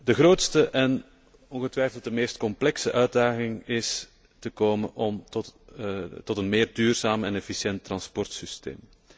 De grootste en ongetwijfeld meest complexe uitdaging is te komen tot een meer duurzaam en efficiënt transportsysteem.